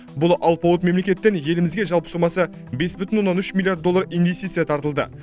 бұл алпауыт мемлекеттен елімізге жалпы сомасы бес бүтін оннан үш миллиард доллар инвестиция тартылды